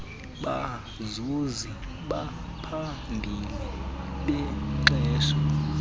bazuzi baphambili benkxaso